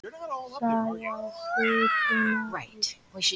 Saga sútunar á Íslandi.